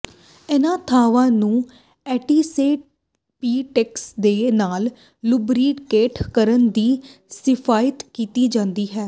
ਇਨ੍ਹਾਂ ਥਾਵਾਂ ਨੂੰ ਐਂਟੀਸੈਪਿਟਿਕਸ ਦੇ ਨਾਲ ਲੁਬਰੀਕੇਟ ਕਰਨ ਦੀ ਸਿਫਾਰਸ਼ ਕੀਤੀ ਜਾਂਦੀ ਹੈ